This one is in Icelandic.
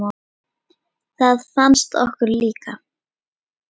Það fannst okkur líka.